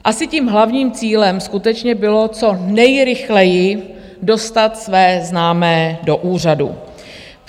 Asi tím hlavním cílem skutečně bylo co nejrychleji dostat své známé do úřadu.